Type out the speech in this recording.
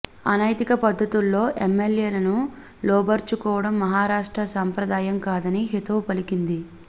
అనైతిక పద్ధతుల్లో ఎమ్మెల్యేలను లోబరుచుకోవడం మహారాష్ట్ర సంప్రదాయం కాదని హితవు పలికింది